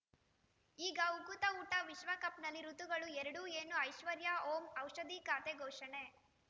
ಈಗ ಉಕುತ ಊಟ ವಿಶ್ವಕಪ್‌ನಲ್ಲಿ ಋತುಗಳು ಎರಡು ಏನು ಐಶ್ವರ್ಯಾ ಓಂ ಔಷಧಿ ಖಾತೆ ಘೋಷಣೆ